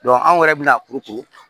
anw yɛrɛ bina